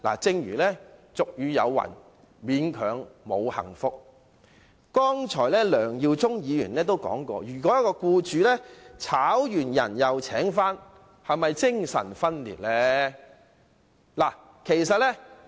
正如俗語有云："勉強沒有幸福"，梁耀忠議員剛才也質疑，僱主解僱僱員後再僱用，是否精神分裂。